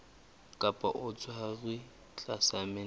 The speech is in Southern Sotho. kapa o tshwerwe tlasa mental